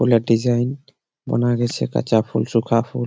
ফুলের ডিজাইন বানা গেছে কাঁচা ফুল শুকা ফুল।